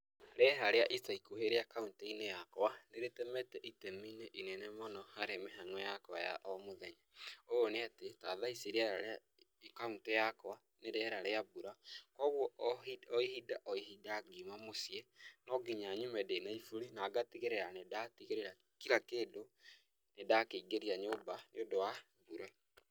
Rĩera rĩa ica ikuhĩ rĩa kauntĩ-inĩ yakwa, nĩrĩtemete itemi-inĩ inene mũno harĩ mĩhang'o yakwa ya o mũthenya. Ũũ nĩ atĩ ta thaa ici rĩera rĩa kauntĩ yakwa nĩ rĩera rĩa mbura koguo o hĩ o ihinda o ihinda ngiuma mũciĩ, no nginya nyume ndĩna iburi na ngatigĩrĩra nĩndatigĩrĩra kira kĩndũ nĩndakĩingĩria nyũmba nĩũndũ wa mbura.